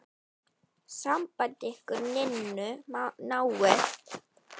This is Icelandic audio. Samband ykkar Ninnu náið.